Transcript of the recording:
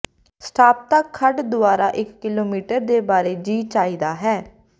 stop ਤੱਕ ਖੱਡ ਦੁਆਰਾ ਇੱਕ ਕਿਲੋਮੀਟਰ ਦੇ ਬਾਰੇ ਜੀਅ ਚਾਹੀਦਾ ਹੈ